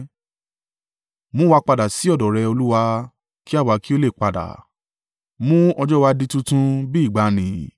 Mú wa padà sí ọ̀dọ̀ rẹ, Olúwa, kí àwa kí ó le padà; mú ọjọ́ wa di tuntun bí ìgbàanì,